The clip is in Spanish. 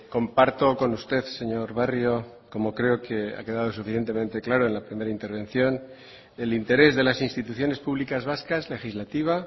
comparto con usted señor barrio como creo que ha quedado suficientemente claro en la primera intervención el interés de las instituciones públicas vascas legislativa